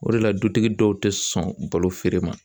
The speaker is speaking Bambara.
O de la, dutigi dɔw tɛ sɔn balo feere ma.